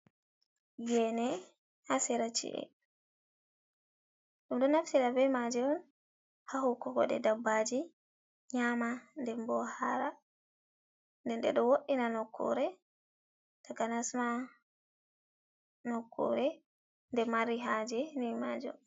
Ngene hasera ci’e. dum do naftira be maji on ha hukokode dabbaji nyama dembo hara. Ndeɗɗe do woddina nokkure, takanasma nokkure de mari haje ni majo.